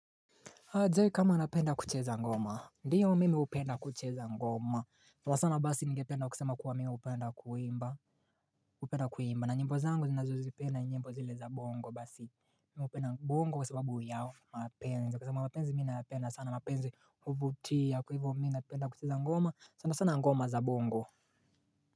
Adzai kama anapenda kucheza ngoma, ndiyo mimi hupenda kucheza ngoma. Sana sana basi ngependa kusema kuwa mimi hupenda kuimba hupenda kuimba. Na nyimbo zangu ninazozipenda ni nyimbo zile za bongo basi Mimi hupenda bongo kwa sababu ya mapenzi, kwa sababu mapenzi mimi nayapenda sana mapenzi huvutia Kwa hivyo mimi napenda kucheza ngoma sana sana ngoma za bongo.